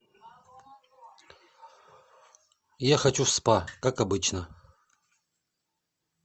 я хочу в спа как обычно